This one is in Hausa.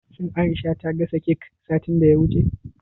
Shin Aisha ta gasa kek satin da ya wuce?